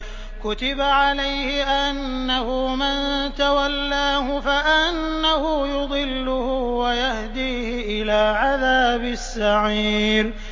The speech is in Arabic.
كُتِبَ عَلَيْهِ أَنَّهُ مَن تَوَلَّاهُ فَأَنَّهُ يُضِلُّهُ وَيَهْدِيهِ إِلَىٰ عَذَابِ السَّعِيرِ